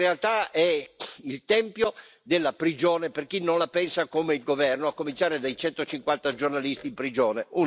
In realtà è il tempio della prigione, per chi non la pensa come il governo, a cominciare dai 150 giornalisti in prigione.